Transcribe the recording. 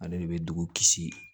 Ale de bɛ dugu kisi